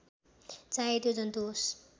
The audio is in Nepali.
चाहे त्यो जन्तु होस्